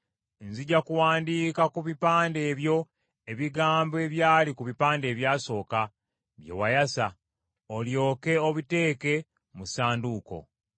Nzija kuwandiika ku bipande ebyo ebigambo ebyali ku bipande ebyasooka, bye wayasa; olyoke obiteeke mu Ssanduuko.”